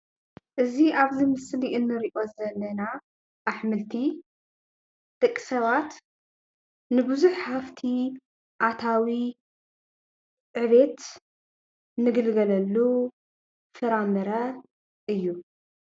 እዚ ኣብዚ ምስሊ እንሪኦ ዘለና ኣሕምልቲ ደቂ ሰባት ንብዙሕ ሃፍቲ ኣታዊ ዕቤት ንግልገለሉ ፍራምረ እዩ፡፡